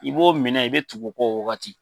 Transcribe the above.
I b'o minɛ, i bɛ tugu o kɔ o wagati